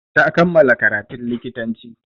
Ta kammala karatun likitanci.